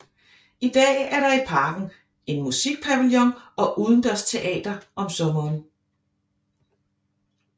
I dag er der i parken en musikpavillon og udendørsteater om sommeren